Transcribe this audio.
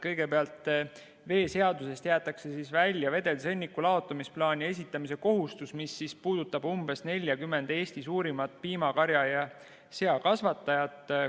Kõigepealt, veeseadusest jäetakse välja vedelsõnniku laotamisplaani esitamise kohustus, mis puudutab umbes 40 Eesti suurimat piimakarja- ja seakasvatajat.